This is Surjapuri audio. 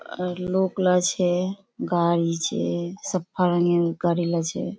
आर लोकला छे गाड़ी छे सफा रंगेर गाड़ीला छे।